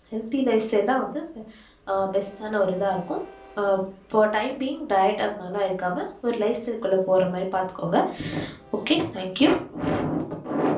healthy life style தான் வந்து best ஆண இதா இருக்கும் அஹ் timing diet அது மாரிலாம் எடுக்காம ஒரு life style குள்ள போற மாதிரி பாத்துகோங்க ok thank you